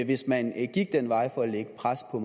hvis man gik den vej for at lægge pres på